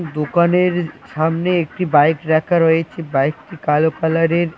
দোকানের সামনে একটি বাইক রাখা রয়েছে বাইকটি কালো কালারের ।